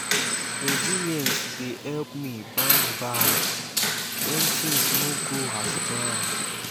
resilience dey help me bounce back when things no go as planned.